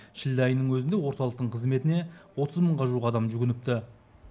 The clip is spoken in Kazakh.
шілде айының өзінде орталықтың қызметіне отыз мыңға жуық адам жүгініпті